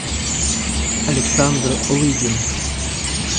александр лыдин